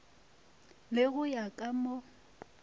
le go ya ka mo